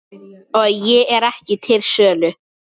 Ég er ekki til sölu